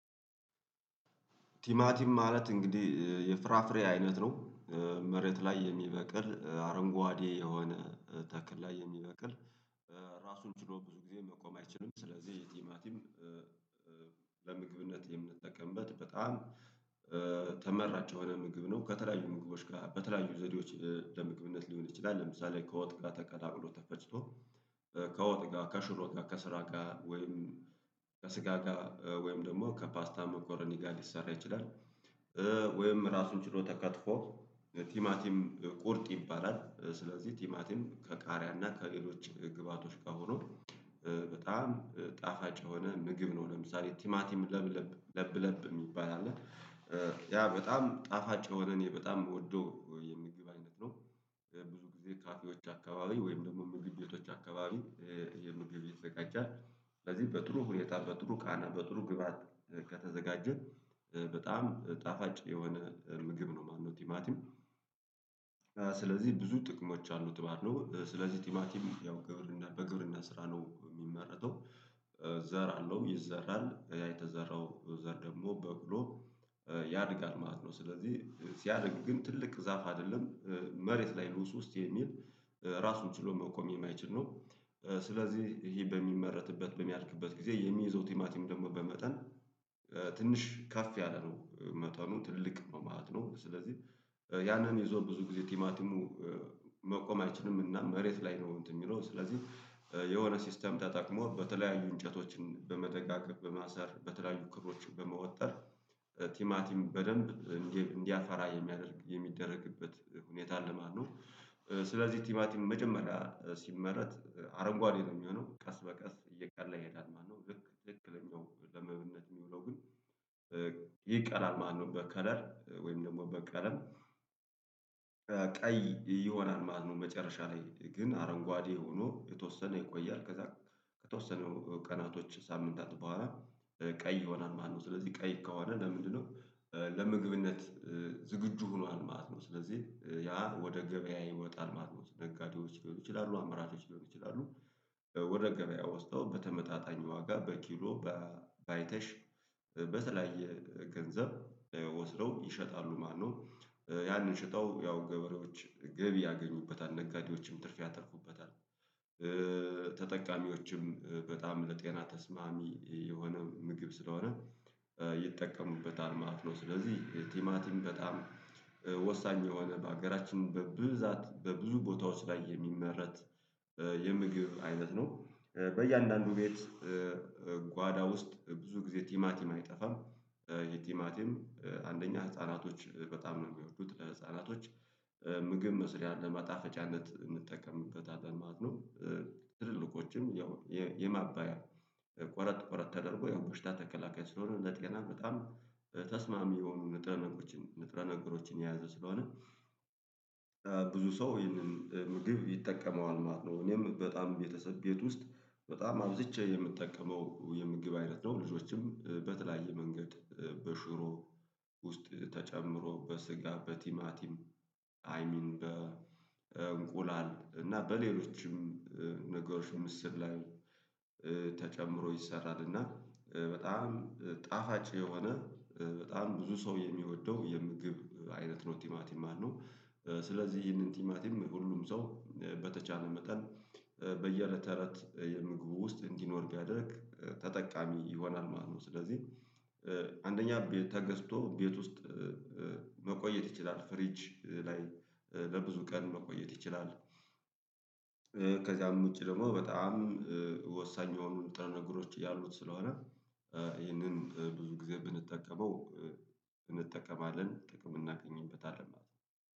ቲማቲም ማለት እንግዲህ የፍራፍሬ አይነት ነው። መሬት ላይ የሚበቅል አረንጓዴ የሆነ ተክል ላይ የሚበቅል ራሱን ችሎ ብዙ ጊዜ መቆም አይችልም። ስለዚህ የቲማቲም ለምግብነት የምንጠቀምበት በጣም ተመራጨው የሆነ ምግብ ነው። ከተለያዩ ምግቦች ጋር በተለያዩ ዘዴዎች ለምግብነት ሊሆን ይችላል። ለምሳሌ ከወጥቃ ተቀላቅሎ ተፈጭቶ ከወጥ ጋር ከሹሮ ጋር ከስጋ ጋር ወይም ከስጋ ጋር ወይም ደግሞ ከፓስታ መኮረኒ ጋር ሊሰራ ይችላል። ወይም ራሱን ችሎ ተከትፎ ቲማቲም ቁርጥ ይባላል። ስለዚህ ቲማቲም ከቃሪያ እና ከሌሎች ግብአቶች ጋር ሆኖ በጣም ጣፋጭ የሆነ ምግብ ነው። ለምሳሌ ቲማቲም ለብለብ ለብለብ የሚባል አለ። ያ በጣም ጣፋጭ የሆነ እኔ በጣም የምወደው የምግብ አይነት ነው። ብዙ ጊዜ ካፌዎች አካባቢ ወይም ደግሞ ምግብቤቶች አካባቢ የምግብ ይዘጋጃል። ስለዚህ በጥሩ ሁኔታ በጥሩ ቃና በጥሩ ግብአት ከተዘጋጀን በጣም ጣፋጭ የሆነ ምግብ ነው ማለትነው። ቲማቲም ስለዚህ ብዙ ጥቅሞች አሉት ባለው ስለዚህ ቲሚቲም ያው ግብርና በግብርና ስራ ነው የሚመረተው። ዘር አለው ይዘራል ያ የተዘራው ዘር ደግሞ በብሎ ያድጋል ማለት ነው። ስለዚህ ሲያድግ ግን ትልቅ ዛፍ አይደለም። መሬት ላይ ውስጥ የሚል ራሱን ችሎ መቆም የማይችል ነው። ስለዚህ ይሄ በሚመረትበት በሚያልቅበት ጊዜ የሚይዘው ቲማቲም ደግሞ በመጠን ትንሽ ከፍ ያለ ነው መጠኑ ትልቅ ነው ማለት ነው። ስለዚህ ያንን የዞር ብዙ ጊዜ ቲማቲሙ መቆም አይችልም። እና መሬት ላይ ነው አንትን የሚለው ስለዚህ የሆነ ሲስተም ተጠቅሞ በተለያዩ እንጨቶችን በመደጋገፍ በማሰር በተለያዩ ክሮችን በመወጠር ቲማቲም በደንብ እንዲያፈራ የሚያደርግ የሚደረግበት ሁኔታ ለማነው። ስለዚህ ቲማቲም መጀመሪያ ሲመረት አረንጓዴ ነው የሚሆነው ቀስ በቀስ እየቀላ ይሄዳል ማለት ነው። ልክ ትክክለኛው ለምግብነት የሚውለው ግን ማለት ነው። በከለር ወይም ደግሞ በቀለም ቀይ ይሆናል ማለት ነው። መጨረሻ ላይ ግን አረንጓዴ ሆኖ የተወሰነ ይቆያል ከዛ ከተወሰነ ቀናቶች ሳምንታት በኋላ ቀይ ሆናል ማለት ነው። ስለዚህ ቀይ ከሆነ ለምንድነው? ለምግብነት ዝግጁ ሆኗል ማለት ነው። ስለዚህ ያ ወደ ገበያ ይወጣል ማለት ነው። ደጋጊዎች ሊሆኑ ይችላሉ አመራቾች ሊሆኑ ይችላሉ። ወደ ገበያ ወስደው በተመጣጣኝ ዋጋ በኪሎ ባይተሽ በተለያየ ገንዘብ ወስደው ይሸጣሉ ማለት ነው። ያንን ሽጠው ያው ገበሬዎች ገቢ ያገኙበታል ነጋዴዎችም ትርፍ ያተርፉበታል። ተጠቃሚዎችም በጣም ለጤና ተስማሚ የሆነ ምግብ ስለሆነ ይጠቀሙበታል ማለት ነው። ስለዚህ ቲማቲም በጣም ወሳኝ የሆነ በሀገራችን በብዛት በብዙ ቦታዎች ላይ የሚመረት የምግብ አይነት ነው። በእያንዳንዱ ቤት ጓዳ ውስጥ ብዙ ጊዜ ቲማቲም አይጠፋም። ቲማቲም አንደኛ ህፃናቶች በጣም ነው የሚወዱት ለህፃናቶች ምግብ መስሪያ ለማጣፈጫነት እንጠቀምበታለን ማለት ነው። ትልልኮችም ያው የማባያ ቆረጥ ቆረጥ ተደርጎ ያው ቦሽታ ተከላካይ ስለሆነለት ገና በጣም ተስማሚ የሆኑ ንጥረ ነገሮችን ንጥረ ነገሮችን የያዙ ስለሆነ። ብዙ ሰው ይሄንን ምግብ ይጠቀመዋል ማለት ነው። እኔም በጣም ቤተሰብ ቤት ውስጥ በጣም አብዝቼ የምጠቀመው የምግብ አይነት ነው። ልጆችም በተለያየ መንገድ በሽሮ ውስጥ ተጨምሮ በስጋ በቲማቲም አይ ሚን በእንቁላል እና በሌሎችም ነገሮችን ምስር ላይ ተጨምሮ ይሰራል እና በጣም ጣፋጭ የሆነ በጣም ብዙ ሰው የሚወደው የምግብ አይነት ነው። ቲማቲም አሉ ስለዚህ ይህንን ቲማቲም ሁሉም ሰው በተቻለ መጠን በየእለተሰ ተለት የምግቡ ውስጥ እንዲኖር ቢያደርግ ተጠቃሚ ይሆናል ማለት ነው። ስለዚህ አንደኛ ተገዝቶ ቤት ውስጥ መቆየት ይችላል ፍሪጅ ላይ ለብዙ ቀን መቆየት ይችላል። ከዚያም ውጪ ደግሞ በጣም ወሳኝ የሆኑን ጥረ ነገሮች ያሉት ስለሆነ ይህንን ብዙ ጊዜ ብንጠቀመው እንጠቀማለን ጥቅም የምናገኝበት አለ ማለት ነው